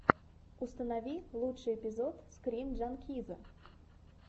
установи лучший эпизод скрин джанкиза